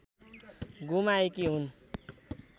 गुमाएकी हुन्